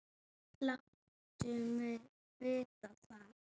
Láttu mig vita það.